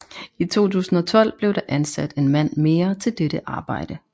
I 2012 blev der ansat en mand mere til dette arbejde